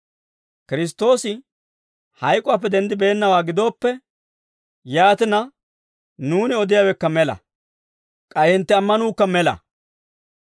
Kiristtoosi hayk'uwaappe denddibeennawaa gidooppe, yaatina nuuni odiyaawekka mela; k'ay hintte ammanuukka mela.